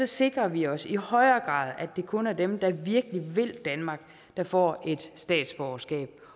sikrer vi os i højere grad at det kun er dem der virkelig vil danmark der får et statsborgerskab